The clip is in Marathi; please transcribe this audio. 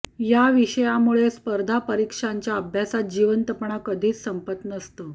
या विषयामुळे स्पर्धा परीक्षांच्या अभ्यासात जिवंतपणा कधीच संपत नसतो